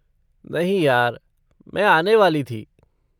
नहीं यार, मैं आने वाली थी।